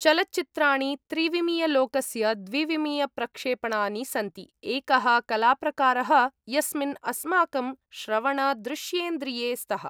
चलच्चित्राणि त्रिविमीयलोकस्य द्विविमीयप्रक्षेपणानि सन्ति, एकः कलाप्रकारः यस्मिन् अस्माकं श्रवणदृश्येन्द्रिये स्तः।